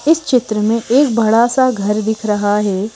इस चित्र में एक बड़ा सा घर दिख रहा है ।